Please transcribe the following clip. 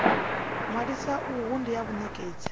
ṅwalisa uhu ndi ha vhanekedzi